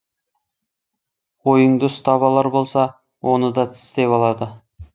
ойыңды ұстап алар болса оны да тістеп алады